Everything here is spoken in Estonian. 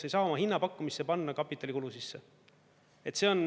Sa ei saa oma hinnapakkumisse panna kapitalikulu sisse.